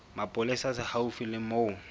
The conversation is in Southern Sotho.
mapolesa se haufi le moo